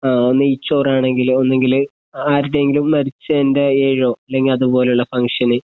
ആ നെയ്‌ച്ചോറ് ആണെങ്കില് ഒന്നെങ്കില് ആരുടെയെങ്കിലും മരിച്ചൻ്റെ ഏഴോ, ല്ലെങ്കി അതുപോലുള്ള ഫങ്ക്ഷന്